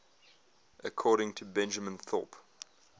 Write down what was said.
according to benjamin thorpe